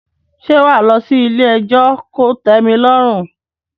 Ṣé wà á lọ sí ilé ẹjọ́ kò tẹ́mi lọ́rùn?